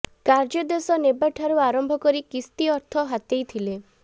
କାର୍ଯ୍ୟଦେଶ ନେବା ଠାରୁ ଆରମ୍ଭ କରି କିସ୍ତି ଅର୍ଥ ହାତେଇ ଥିଲେ